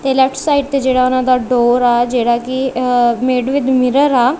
ਤੇ left side ਤੇ ਜੇਹੜਾ ਓਹਨਾਂ ਦਾ ਡੋਰ ਆ ਜੇਹੜਾ ਕੀ ਇਹ ਮੇਡ ਵਿਦ ਮਿਰਰ ਹੈ।